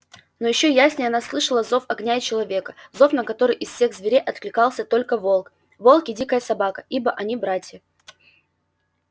но ещё яснее она слышала зов огня и человека зов на который из всех зверей откликался только волк волк и дикая собака ибо они братья